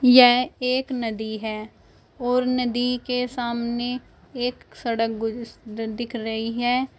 यह एक नदी है और नदी के सामने एक सड़क दिख रही है